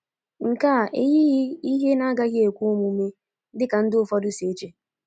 Nke a eyighị ihe na-agaghị ekwe omume dị ka ndị ụfọdụ si eche.